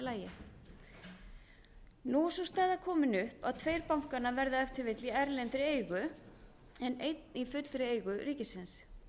lagi nú er sú staða komin upp að tveir bankanna verða ef til vill í erlendri eigu en einn í fullri eigu ríkisins